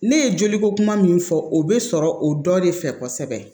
Ne ye joliko kuma min fɔ o be sɔrɔ o dɔ de fɛ kosɛbɛ